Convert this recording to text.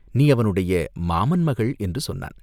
"நீ அவனுடைய மாமன் மகள் என்று சொன்னான்.